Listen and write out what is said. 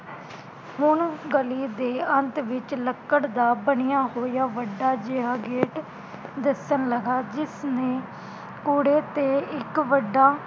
ਹੁਣ ਗਲੀ ਤੇ ਅੰਤ ਵਿਚ ਲੱਕੜ ਦਾ ਬਣਿਆ ਹੋਇਆ ਵੱਡਾ ਜੇਹਾ ਗੇਟ ਦਿਸਣ ਲਗਾ ਜਿਸਨੇ ਕੂੜੇ ਤੇ ਇਕ ਵੱਡਾ